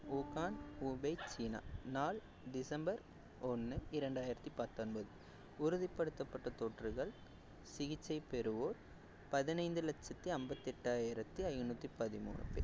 Wuhan Hubei China நாள் டிசம்பர் ஒண்ணு இரண்டாயிரத்தி பத்தொன்பது உறுதிப்படுத்தப்பட்ட தொற்றுகள் சிகிச்சை பெறுவோர் பதினைந்து லட்சத்தி ஐம்பத்தெட்டாயிரத்தி ஐநூத்தி பதிமூணு பேர்